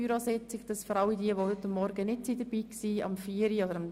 Dieser Hinweis ist an alle gerichtet, die heute Morgen nicht dabei waren.